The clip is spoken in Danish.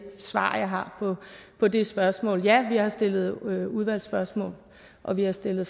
svar jeg har på det spørgsmål ja vi har stillet udvalgsspørgsmål og vi har stillet